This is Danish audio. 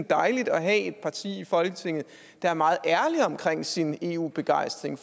dejligt at have et parti i folketinget der er meget ærlig med sin eu begejstring